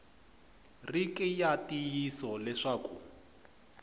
ri ki ya ntiyiso leswaku